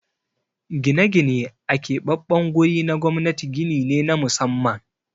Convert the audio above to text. Gine-gine a keɓaɓɓen guri na gwamnati gini ne na musamman.